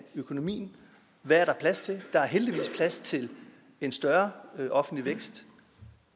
økonomien hvad er der plads til der er heldigvis plads til en større offentlig vækst